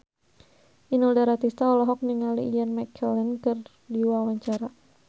Inul Daratista olohok ningali Ian McKellen keur diwawancara